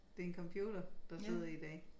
Det en computer der sidder i dag